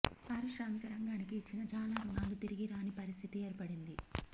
పారిశ్రామిక రంగానికి ఇచ్చిన చాలా రుణాలు తిరిగి రాని పరిస్థితి ఏర్పడింది